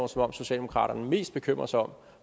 som om socialdemokraterne mest bekymrer sig om